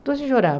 Então, eu chorava.